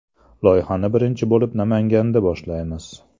Loyihani birinchi bo‘lib Namanganda boshlaymiz.